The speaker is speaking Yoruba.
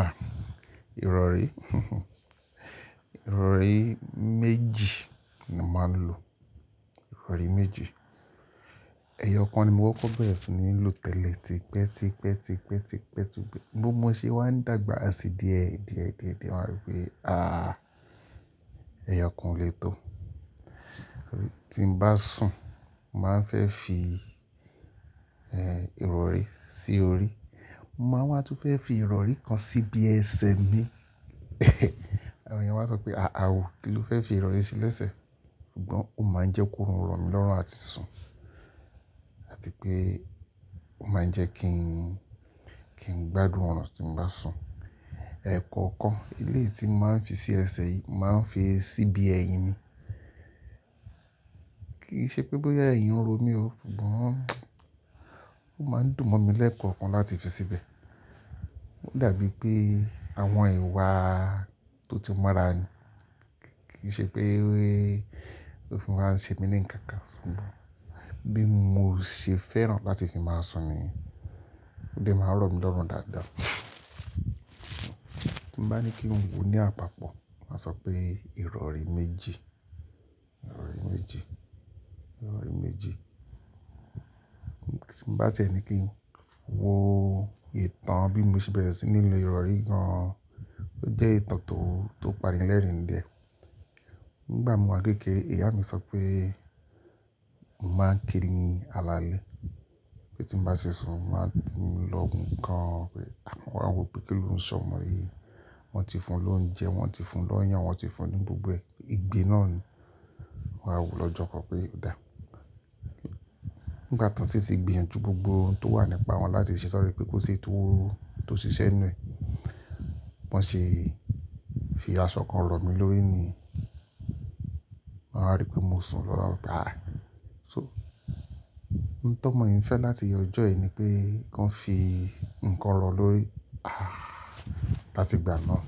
Ah, ìrọ̀rí. Ìrọ̀rí méjì ni mo máa ń lo, ìrọ̀rí méjì. Ẹ̀yọ̀ kan ni mo kọ́ko bẹ́rẹ̀ sì ni ń lò tẹ́lẹ̀ tipẹ́, tipẹ́, tipẹ́, tipẹ́, tún bí mó mọ ṣe wá ń dàgbà sí díẹ̀, díẹ̀, díẹ̀, díẹ̀, mo wáa rí pé ah, ẹ̀yọ̀kan o lè tó. Torí tí n bá sùn, mo máa ń fẹ́ fi, eh, ìrọ̀rí sí orí. Mo máa wá tún fẹ́ fi ìrọ̀rí kan sí bí ẹsẹ̀ mi. Àwọn èèyàn máa sọ pé "àà ó, kí ló fẹ́ fi ìrọ̀rí sí lẹ́sẹ̀?" Ṣùgbọ́n ó máa ń jẹ́ kí orun ro mi lọ́rùn àti sùn, àti pé ó máa ń jẹ́ kí n, kí n gbádùn ọ̀nà tí n bá sùn. Ẹ̀ekọ́okan, eléyii tí mo máa ń fi sí ẹsẹ̀ yìí, mo màá ń fi sí ibí ẹyin mi. Kì í ṣe pé bóyá ẹ̀yin ń ro mí ó, ṣùgbọ́n ó máa ń dùn mọ́ mi lẹ́ẹ̀kọ́okan tí n bá ti fi síbẹ̀. Ó dàbí pé àwọn ìwà tó ti mọ́ra ni. Kì í ṣe pé ó fi máa ń ṣe mí ní nnkankan, ṣùgbọ́n bí mo ṣe fẹ́ràn láti fi máa sùn ni. Ó dẹ máa ń rọ̀ mí lọ́rùn dáadáa. Tí n bá ní kí n wò ní àpapọ̀, màá sọ pé ìrọ̀rí méjì, ìrọ̀rí méjì, ìrọ̀rí méjì. Tí n bá tiẹ̀ ní kí n wò ìtàn bí mo ṣe bẹ̀rẹ̀ sí ní lo ìrọ̀rí gan-an, ó jẹ́ ìtàn tó, tó parí lẹ́rìn dẹ́. Nígbà mo wà kékeré, ìyá mi sọ pé mo máa ń kiri ní alaalẹ́, pé tí n bá ṣe sùn, mo máa ń dùn lọ́hun gan-an. Pé àwọn wò pé kí ló ń ṣọ ọmọ yìí? Wọ́n ti fún lóúnjẹ, wọ́n ti fún lọ́yàn, wọ́n ti fún ní gbogbo ẹ-- ìgbe náà ni. Wọn wá wò lọ́jọ́ kan pé ó dà. Nígbà tan sì ti gbìyànjú gbogbo ohun tó wà nípa wọn láti ṣe sọ̀rọ̀ yìí pé kó ṣe èyí tó, tó ṣiṣẹ́ n nú ẹ, bi wọ́n ṣe fi aṣọ kan rọ̀ mí lórí ni. Wọ́n wá rí pé mo sùn wọ́n wa wo pé "àì". So, ohun t'ómọ̀ yìí ń ìfẹ́ láti iye ọjọ́ yìí ni pé kan fi nǹkan rọ̀ lórí. Ààh! Láti ìgbà náà,